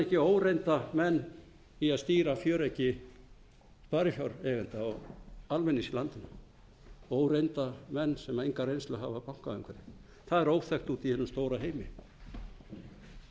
ekki óreynda menn í að stýra fjöreggi sparifjáreigenda og almennings í landinu óreynda menn sem enga reynslu hafa af bankaumhverfi það er óþekkt úti í hinum stóra heimi